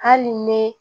Hali ni ne